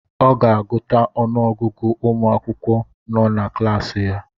Ọ ga-agụta ọnụ ọgụgụ ụmụ akwụkwọ nọ na klaasị ya